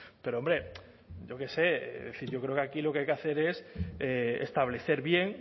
pero hombre yo que sé es decir yo creo que aquí lo que hay que hacer es establecer bien